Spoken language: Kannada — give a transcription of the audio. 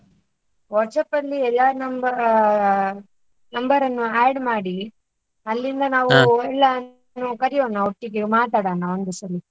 WhatsApp ಅಲ್ಲಿ ಎಲ್ಲರ number ಆಹ್ number ಅನ್ನು add ಮಾಡಿ ಅಲ್ಲಿಂದ ನಾವು ಎಲ್ಲ ಕರೆಯೋಣ, ಒಟ್ಟಿಗೆ ಮಾತಾಡೋಣ ಒಂದು ಸರಿ.